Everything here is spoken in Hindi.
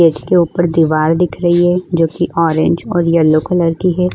गेट के ऊपर दीवार दिख रही है जो कि ऑरेंज और येलो कलर की है।